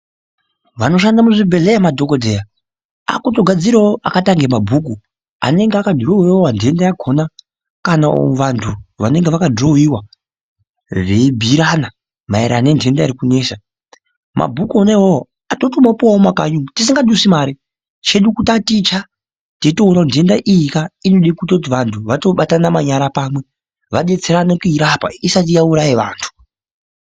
Vanoshande muzvibhedhleya madhokodheya akutogadzirawo akaita kunge mabhuku anenge akadhirowiwa ntenda yakona kana vantu vanenge vakadhirowiwa veibhuyirana maererano nentenda iri kunesa. Mabhuku wona iwowo totomapuwa mumakanyi umwu tisingadusi mare chedu kutataicha teitoona kuti ntenda iyika inode kutoti vantu vatobatana manyara pamwe vadetserane kuirapa isati yauraye vantu.